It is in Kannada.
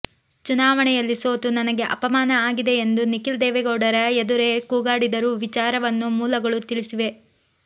ಚುನಾವಣೆಯಲ್ಲಿ ಸೋತು ನನಗೆ ಅಪಮಾನ ಆಗಿದೆ ಎಂದು ನಿಖಿಲ್ ದೇವೇಗೌಡರ ಎದುರೇ ಕೂಗಾಡಿರು ವಿಚಾರವನ್ನು ಮೂಲಗಳು ತಿಳಿಸಿವೆ